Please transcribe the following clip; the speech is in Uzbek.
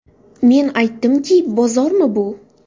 Men aytdimki, bozormi bu?